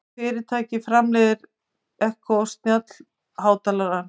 Hvaða fyrirtæki framleiðir Echo snjallhátalarann?